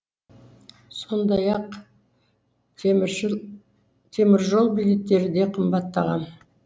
сондай ақ теміржол билеттері де қымбаттаған